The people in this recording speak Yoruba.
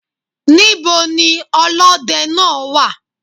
Níbo ni olódẹ náà wà?